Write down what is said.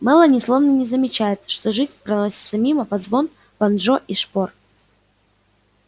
мелани словно не замечает что жизнь проносится мимо под звон банджо и шпор